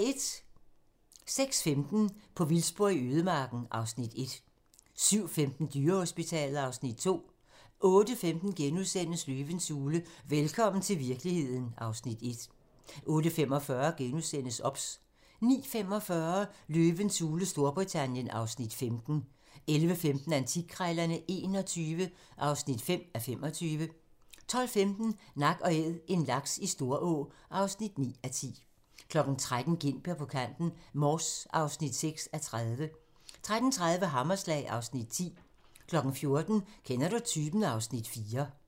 06:15: På vildspor i ødemarken (Afs. 1) 07:15: Dyrehospitalet (Afs. 2) 08:15: Løvens hule - velkommen til virkeligheden (Afs. 1)* 08:45: OBS * 09:45: Løvens hule Storbritannien (Afs. 15) 11:15: Antikkrejlerne XXI (5:25) 12:15: Nak & Æd - en laks i Storå (9:10) 13:00: Gintberg på kanten - Mors (6:30) 13:30: Hammerslag (Afs. 10) 14:00: Kender du typen? (Afs. 4)